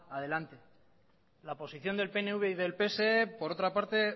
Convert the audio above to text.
adelante la posición del pnv y del pse por otra parte